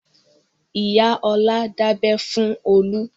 Ìyá Ọlá dábẹ fún Olú.